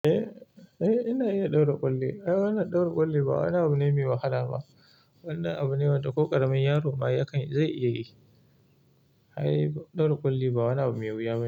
Eh, eh ina iya ɗaura ƙulli. Ai wannan ɗaura ƙulli ba wani abu ne mai wahala ba. Wannan abu ne wanda ko ƙaramin yaro ma yakan/ zai iya yi. Ai ɗaura ƙulli ba wani abu mai wuya bane.